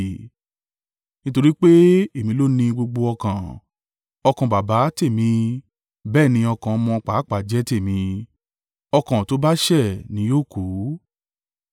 Nítorí pé èmi ló ní gbogbo ọkàn, ọkàn baba tèmi bẹ́ẹ̀ ni ọkàn ọmọ pàápàá jẹ tèmi, ọkàn tó bá ṣẹ̀ ní yóò kú.